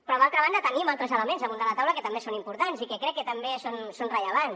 però d’altra banda tenim altres elements damunt de la taula que també són importants i que crec que també són rellevants